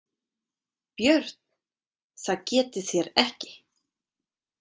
BJÖRN: Það getið þér ekki.